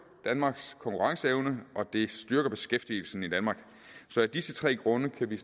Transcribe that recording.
danmarks konkurrenceevne og det styrker beskæftigelsen i danmark af disse tre grunde kan vi